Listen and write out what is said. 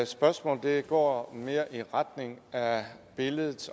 spørgsmål går mere i retning af billedet